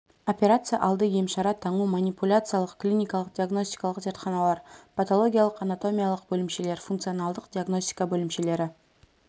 операция алды емшара таңу манипуляциялық клиникалық-диагностикалық зертханалар патологиялық-анатомиялық бөлімшелер функционалдық диагностика бөлімшелері